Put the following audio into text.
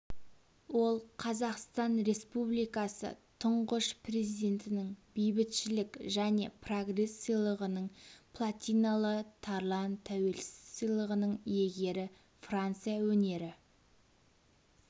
ол қазақстан республикасы тұңғыш президентінің бейбітшілік және прогресс сыйлығының платиналы тарлан тәуелсіз сыйлығының иегері франция өнері